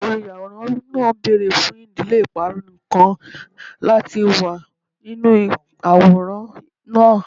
Oluyaworan naa beere fun idile iparun nikan lati wa ninu aworan naa